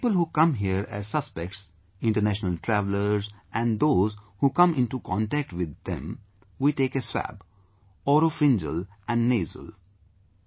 From people who come here as suspects; international travellers and those who come into contact with them...we take a swab... oropharyngeal and nasal